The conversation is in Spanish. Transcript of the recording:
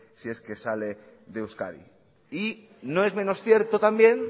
si es que sale de euskadi y no es menos cierto también